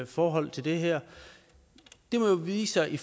forhold til det her det må jo vise sig i